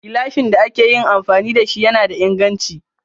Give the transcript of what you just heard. Gilashin da ake yi amfani da shi yana da inganchi.